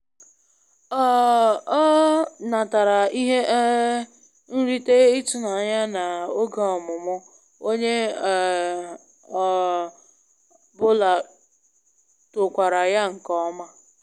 Ọ um natara ihe um nrite ịtụnanya na oge ọmụmụ, onye ọ um bụla tokwara ya nke ọma